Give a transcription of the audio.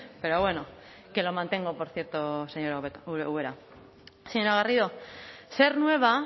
pero bueno que lo mantengo por cierto señora ubera señora garrido ser nueva